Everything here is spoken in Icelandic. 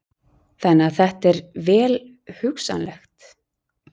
Þannig að þetta er vel hugsanlegt?